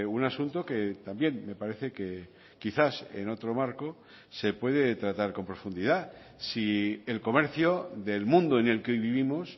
un asunto que también me parece quizás en otro marco se puede tratar con profundidad si el comercio del mundo en el que vivimos